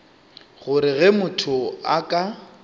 gore ge motho a ka